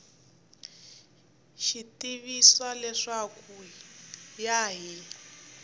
tivisiwa leswaku ku ya hi